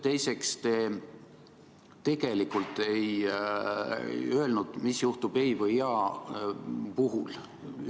Teiseks, te tegelikult ei öelnud, mis juhtub ei- või jah-vastuse puhul.